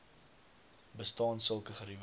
bestaan sulke geriewe